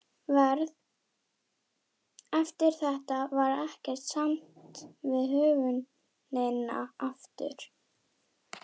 Eftir þetta varð ekkert samt við höfnina aftur.